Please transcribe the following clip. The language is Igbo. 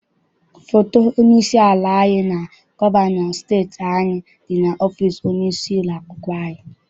Foto onye isi ala anyị na gọvanọ steeti anyị dị n'ọfịịsi onye isi ụlọakwụkwọ anyị.